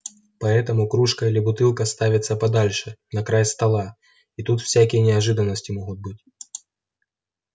поэтому кружка или бутылка ставится подальше на край стола и тут всякие неожиданности могут быть